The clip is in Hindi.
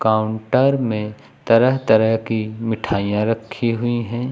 काउंटर में तरह तरह की मिठाइयां रखी हुई हैं।